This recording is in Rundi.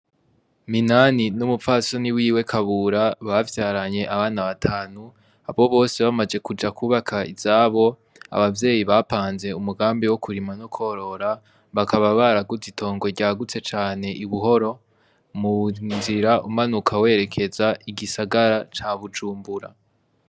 Minani n'umupfasoni wiwe Kabura bavyaranye abana batanu abo bose bamaje kuja kubaka izabo abavyeyi bapanze umugambi wo kurima no korora bakaba baraguze itongo ryagutse cane Ibuhoro mu nzira umanuka werekeza igisagara ca Bujumbura.